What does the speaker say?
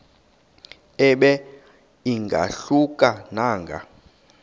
ibe ingahluka nanga